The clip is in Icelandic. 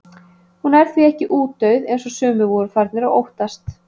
Hún er því ekki útdauð eins og sumir voru farnir að óttast.